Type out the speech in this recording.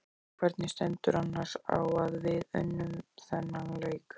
Hvernig stendur annars á að við unnum þennan leik?